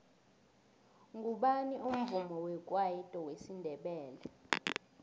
ngubani umvumi wekwayito wesindebele